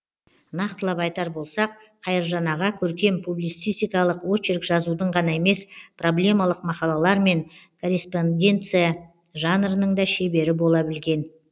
нақтылап айтар болсақ қайыржан аға көркем публицистикалық очерк жазудың ғана емес проблемалық мақалалар мен корреспонденция жанрының да шебері бола білген